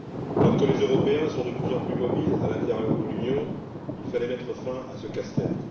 Alors que les Européens sont de plus en plus mobiles à l'intérieur de l'Union, il fallait mettre fin à ce casse tête.